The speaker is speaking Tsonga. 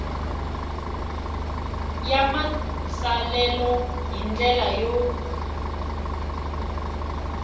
ya matsalelo hi ndlela yo